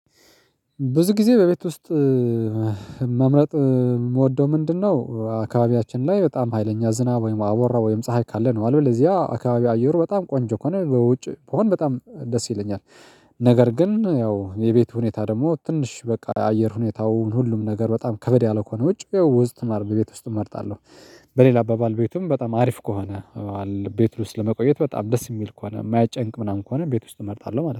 ብዙ ጊዜ በቤት ውስጥ መምረጥ የምወደው ምንድነው? አካባቢያችን ላይ በጣም ሀይለኛ ዝናብ ወይም አቧራ ወይም ፀሀይ ካለ ነው አለው ለዚያ አካባቢ አየሩ በጣም ቆንጆ ከሆነ በውጭ በሆን በጣም ደስ ይለኛል። ነገር ግን ያው የቤቱ ሁኔታ ደግሞ ትንሽ በቃ የአየር ሁኔታውን ሁሉም ነገር በጣም ከበድ ያለ ከሆነ ውጪ ያው ውስጥ ነው በቤት ውስጥ እመርጣለሁ። በሌላ አባባል ቤቱም በጣም አሪፍ ከሆነ። ቤት ውስጥ ለመቆየት በጣም ደስ የሚል ከሆነ የማይጨንቅ ምናምን ከሆነ ቤት ውስጥ እመርጣለሁ ማለት ነው